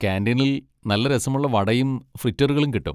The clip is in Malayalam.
കാന്റീനിൽ നല്ല രസമുള്ള വടയും ഫ്രിറ്ററുകളും കിട്ടും.